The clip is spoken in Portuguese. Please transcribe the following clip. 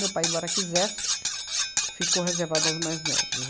Meu pai, embora quisesse, ficou reservado aos mais novos.